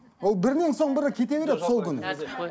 ол бірінен соң бірі кете береді сол күні